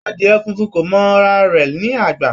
Adìẹ funfun kò mọ ara rẹ̀ ní àgbà.